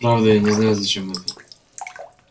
правда я не знаю зачем это